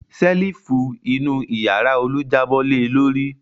Ṣẹ́lífù inú ìyàrá Olú jábọ́ le lórí.